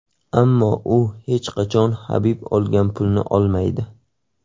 Ammo u hech qachon Habib olgan pulni olmaydi”.